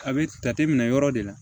A bɛ jate minɛ yɔrɔ de la